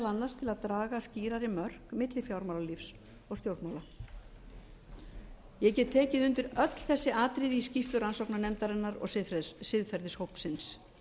annars til að draga skýrari mörk á milli fjármálalífs og stjórnmála ég get tekið undir öll þessi atriði í skýrslu rannsóknarnefndarinnar og siðferðishópsins